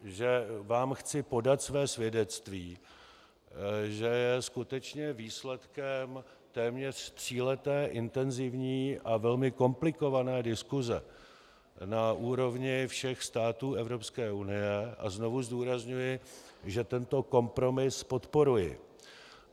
Že vám chci podat své svědectví, že je skutečně výsledkem téměř tříleté intenzivní a velmi komplikované diskuse na úrovni všech států Evropské unie, a znovu zdůrazňuji, že tento kompromis podporuji.